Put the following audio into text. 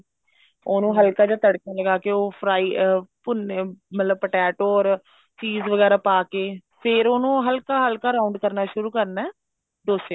ਉਹਨੂੰ ਹਲਕਾ ਜਾ ਤੜਕਾ ਲਗਾ ਕੇ ਉਹ fry ਅਮ ਮਤਲਬ ਭੁੰਨੇ ਮਤਲਬ potato cheese ਵਗੇਰਾ ਪਾ ਕੇ ਫ਼ੇਰ ਉਹਨੂੰ ਹਲਕਾ ਹਲਕਾ round ਕਰਨਾ ਸ਼ੁਰੂ ਕਰਨਾ ਡੋਸੇ ਨੂੰ